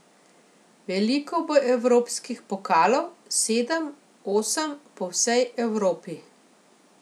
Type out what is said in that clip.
Veliko bo evropskih pokalov, sedem, osem, po vsej Evropi.